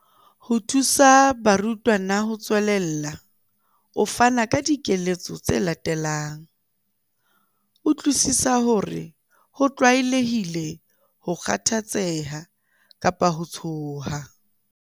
Ho thusa barutwana ho tswelella, o fana ka dikeletso tse latelang- Utlwisisa hore ho tlwaelehile ho kgathatseha kapa ho tshoha.